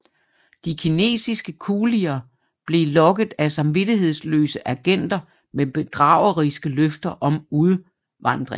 De kinesiske kulier blev lokket af samvittighedsløse agenter med bedrageriske løfter om udvandring